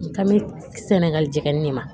Ka bɛ sɛnɛgali jɛgɛni de ma